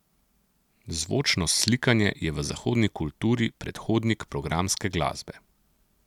Zvočno slikanje je v zahodni kulturi predhodnik programske glasbe.